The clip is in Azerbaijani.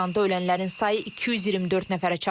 İsrailin hücumu nəticəsində İranda ölənlərin sayı 224 nəfərə çatıb.